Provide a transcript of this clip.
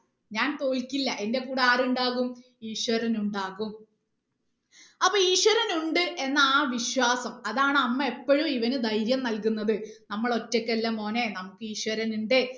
ഞാൻ തോൽക്കില്ല എന്റെ കൂടെ ആരുണ്ടാകും ഈശ്വരൻ ഉണ്ടാകും അപ്പൊ ഈശ്വരൻ ഉണ്ട് എന്ന ആ വിശ്വാസം അതാണ് അമ്മ എപ്പോഴും ഇവന് ധൈര്യം നൽകുന്നത് നമ്മൾ ഒറ്റക്കല്ല മോനെ നമുക്ക് ഈശ്വരൻ ഉണ്ട്